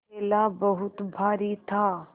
थैला बहुत भारी था